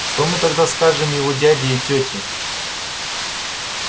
что мы тогда скажем его дяде и тете